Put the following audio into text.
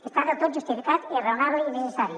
està del tot justificat i és raonable i necessari